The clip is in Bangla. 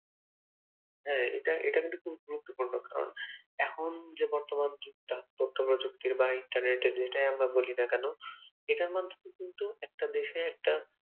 হ্যাঁ এটা এটা কিন্তু খুব গুরুত্বপূর্ণ কারণ এখন যে বর্তমান যুগটা বর্তমান বর্তমান যুগ বা internet যেটাই আমরা বলি না কেন, এটার মাধ্যমে কিন্তু একটা দেশে একটা আহ